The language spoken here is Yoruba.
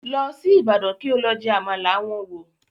Lọ sí Ibadan kí o lọ jẹ Àmàlà wọn wò